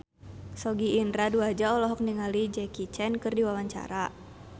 Sogi Indra Duaja olohok ningali Jackie Chan keur diwawancara